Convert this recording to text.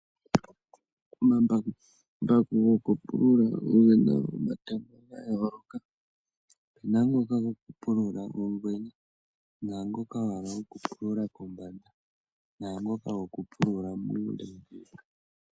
Omambakumbaku gokupulula ogena omatemo ga yooloka. Opuna ngoka goku pulula ongwena naangoka goku pulula kombanda naangoka goku pulula muule.